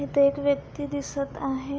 इथ एक व्यक्ति दिसत आहे.